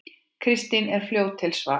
Kristín er fljót til svars.